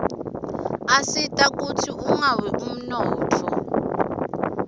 asita kutsz unqawi umnotfo